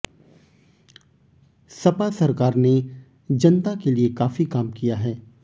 सपा सरकार ने जनता के लिए काफी काम किया है